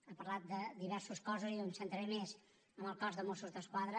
ha parlat de diversos cossos i diu em centraré més en el cos de mossos d’esquadra